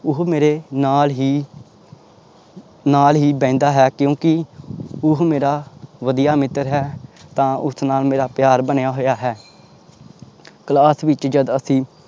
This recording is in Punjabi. ਉਹ ਮੇਰੇ ਨਾਲ ਹੀ ਨਾਲ ਹੀ ਬਹਿੰਦਾ ਹੈ ਕਿਉਂਕਿ ਉਹ ਮੇਰਾ ਵਧੀਆ ਮਿੱਤਰ ਹੈ ਤਾਂ ਉਸ ਨਾਲ ਮੇਰਾ ਪਿਆਰ ਬਣਿਆ ਹੋਇਆ ਹੈ class ਵਿੱਚ ਜਦ ਅਸੀਂ